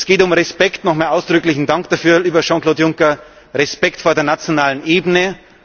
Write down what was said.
Es geht um Respekt nochmals ausdrücklichen Dank dafür, lieber Jean Claude Juncker Respekt vor der nationalen Ebene.